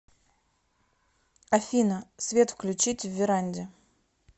афина свет включить в веранде